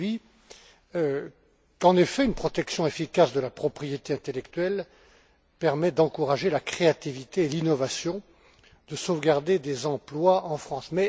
Rübig, qu'en effet une protection efficace de la propriété intellectuelle permet d'encourager la créativité et l'innovation et de sauvegarder des emplois en France.